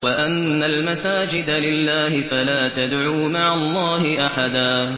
وَأَنَّ الْمَسَاجِدَ لِلَّهِ فَلَا تَدْعُوا مَعَ اللَّهِ أَحَدًا